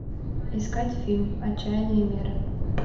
искать фильм отчаянные меры